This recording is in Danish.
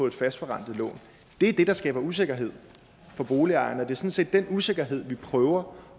et fastforrentet lån det er det der skaber usikkerhed for boligejerne og det set den usikkerhed vi prøver